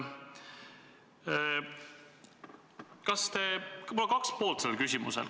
Mu küsimusel on kaks poolt.